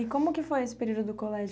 E como que foi esse período do colégio?